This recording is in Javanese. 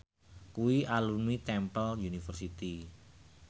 kuwi alumni Temple University